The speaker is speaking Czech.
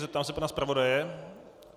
Zeptám se pana zpravodaje?